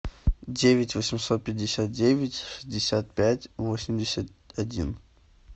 девять восемьсот пятьдесят девять шестьдесят пять восемьдесят один